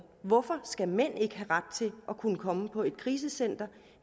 hvorfor skal mænd ikke ret til at kunne komme på et krisecenter